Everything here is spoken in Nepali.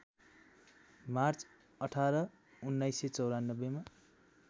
मार्च १८ १९९४ मा